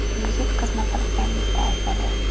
Yigit qizni firibgarlikda aybladi.